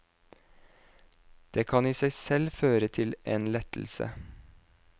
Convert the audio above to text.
Det kan i seg selv føre til en lettelse.